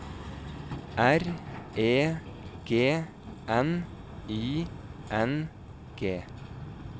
R E G N I N G